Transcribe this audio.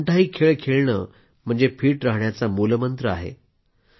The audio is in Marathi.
कोणताही खेळ खेळणं म्हणजे फिट राहण्याचा मूलमंत्र आहे